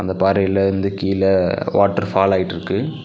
அந்தப் பாறையில் வந்து கீழ வாட்டர் ஃபால் ஆயிட்ருக்கு.